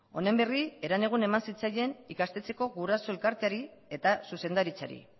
honen berri herenegun eman zitzaien ikastetxeko guraso elkarteari eta zuzendaritzari